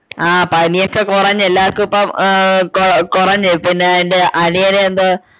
ആഹ് പനിയൊക്കെ കൊറഞ്ഞു എല്ലാർക്കും ഇപ്പൊ ആഹ് കൊ കൊറഞ്ഞു പിന്നെ എൻ്റെ അനിയന് എന്തോ